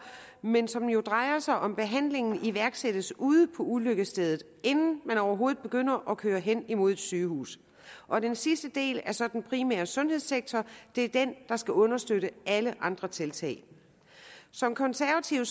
men som jo drejer sig om at behandlingen iværksættes ude på ulykkesstedet inden man overhovedet begynder at køre hen imod et sygehus og den sidste del er så den primære sundhedssektor og det er den der skal understøtte alle andre tiltag som konservativ